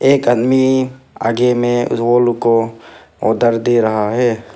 एक आदमी आगे में रोल को ऑर्डर दे रहा है।